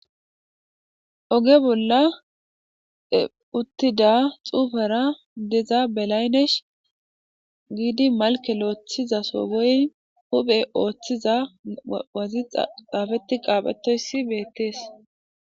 Oge bolla utida xufera diza belaynesh gidi malke lotholizaso wyim huphe othiza xafeti qabhetoys betes